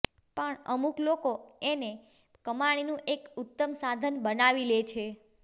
પણ અમુક લોકો એને કમાણીનું એક ઉત્તમ સાધન બનાવી લે છે